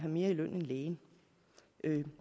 mere i løn end lægen